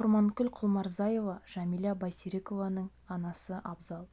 құрманкүл құлмұрзаева жәмила байсерікованың анасы абзал